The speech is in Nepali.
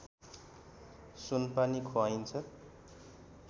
सुनपानी खुवाइन्छ